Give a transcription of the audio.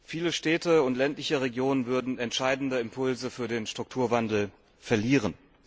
Viele Städte und ländliche Regionen würden entscheidende Impulse für den Strukturwandel verlieren.